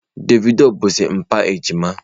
Davido bụzi mpa ejima.